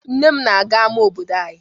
Nne m na-aga ama obodo anyị.